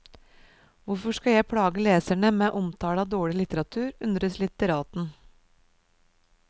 Hvorfor skal jeg plage leserne med omtale av dårlig litteratur, undres litteraten.